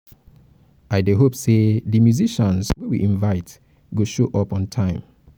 um i dey hope sey di musicians wey we invite go show up um on time